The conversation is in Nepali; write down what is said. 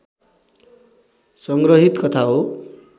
सङ्ग्रहित कथा हो